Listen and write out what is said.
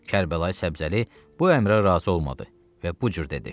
Kərbəlayı Səbzəli bu əmrə razı olmadı və bu cür dedi: